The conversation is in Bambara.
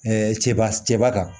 cɛba cɛba kan